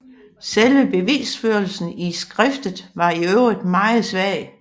Selve bevisførelsen i skriftet var i øvrigt meget svag